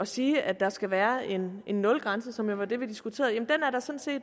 sige at der skal være en nulgrænse som jo var det vi diskuterede er